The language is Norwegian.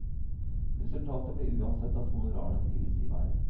Resultatet blir uansett at honorarene drives i været.